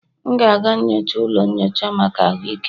M ga-aga nyocha ụlọ nyocha maka ahụike m